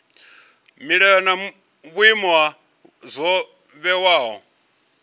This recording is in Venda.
milayo na vhuimo zwo vhewaho